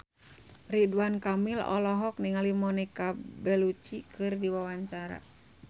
Ridwan Kamil olohok ningali Monica Belluci keur diwawancara